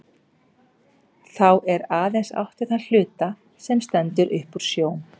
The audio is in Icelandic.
Þá er aðeins átt við þann hluta, sem stendur upp úr sjó.